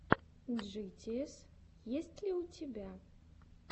джитиэс есть ли у тебя